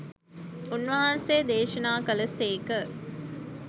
උන්වහන්සේ දේශනා කළ සේක.